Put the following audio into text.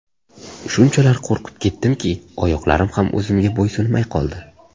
Shunchalar qo‘rqib ketdimki, oyoqlarim ham o‘zimga bo‘ysunmay qoldi.